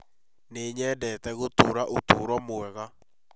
Nĩ nyendete gũtũũra ũtũũro mwega